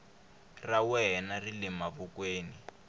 ra wena ri le mavokweni